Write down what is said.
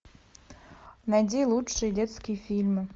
найди лучшие детские фильмы